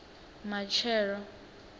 matshelo